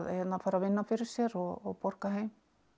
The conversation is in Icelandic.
fara að vinna fyrir sér og borga heim